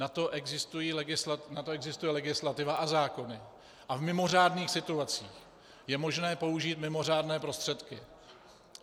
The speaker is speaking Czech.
Na to existuje legislativa a zákon a v mimořádných situacích je možné použít mimořádné prostředky.